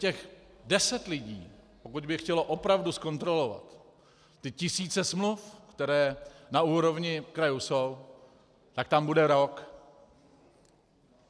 Těch deset lidí, pokud by chtělo opravdu zkontrolovat ty tisíce smluv, které na úrovni krajů jsou, tak tam bude rok.